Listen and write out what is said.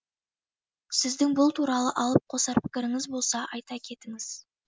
сіздің бұл туралы алып қосар пікіріңіз болса айта кетіңіз